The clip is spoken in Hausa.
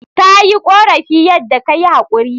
Ta yi korafin yadda ka yi haquri.